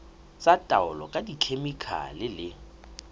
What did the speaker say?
tsa taolo ka dikhemikhale le